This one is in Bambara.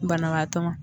Banabaatɔ ma